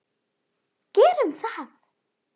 Gerum það!